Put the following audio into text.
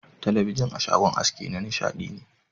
Talabijin a shagon aski na nishadi ne.